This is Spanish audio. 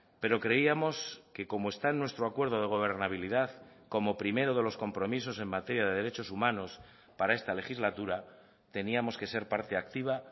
pero creíamos que como está en nuestro acuerdo de gobernabilidad como primero de los compromisos en materia de derechos humanos para esta legislatura teníamos que ser parte activa